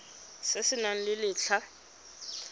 se se nang le letlha